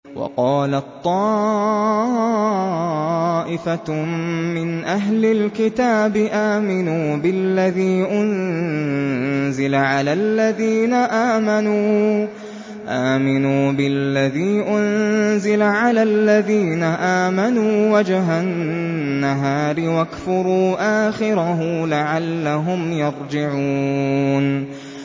وَقَالَت طَّائِفَةٌ مِّنْ أَهْلِ الْكِتَابِ آمِنُوا بِالَّذِي أُنزِلَ عَلَى الَّذِينَ آمَنُوا وَجْهَ النَّهَارِ وَاكْفُرُوا آخِرَهُ لَعَلَّهُمْ يَرْجِعُونَ